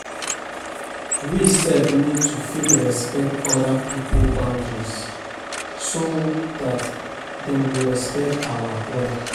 We sef need to fit respect oda pipo boundaries so dat dem go respect our own